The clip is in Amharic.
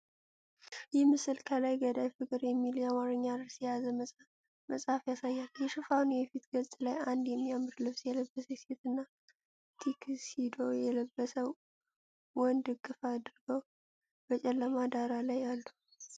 ይህ ምስል ከላይ "ገዳይ ፍቅር!" የሚል የአማርኛ ርዕስ የያዘ መጽሐፍ ያሳያል። የሽፋኑ የፊት ገጽ ላይ አንድ የሚያምር ልብስ የለበሰች ሴትና ቱክሲዶ የለበሰ ወንድ እቅፍ አድርገው በጨለማ ዳራ ላይ አሉ።